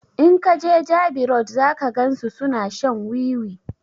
In ka jeJabi road zaka gan su suna shan wiwi